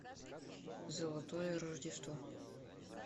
золотое рождество